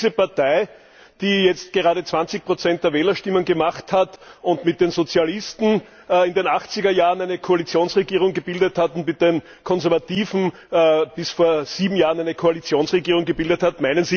Meinen Sie diese Partei, die jetzt gerade 20 der Wählerstimmen erzielt hat und mit den Sozialisten in den Achtzigerjahren eine Koalitionsregierung gebildet hat und mit den Konservativen bis vor sieben Jahren eine Koalitionsregierung gebildet hat?